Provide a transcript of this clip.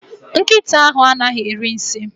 Nkịta ahụ anaghị eri nsi